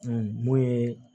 mun ye